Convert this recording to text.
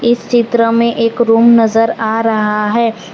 इस चित्र में एक रूम नजर आ रहा है।